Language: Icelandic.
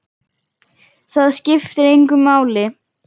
Það skiptir engu máli.